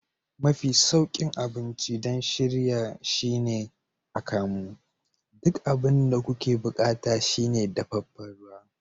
Mafi sauƙin abinci don shirya shine akamu. Duk abin da kuke buƙata shine dafefen ruwa.